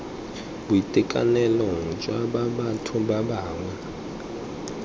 boitekanelong jwa ba batho bangwe